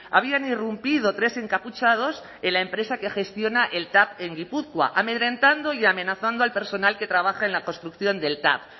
habían irrumpido tres encapuchados en la empresa que gestiona el tav en gipuzkoa amedrentando y amenazando al personal que trabaja en la construcción del tav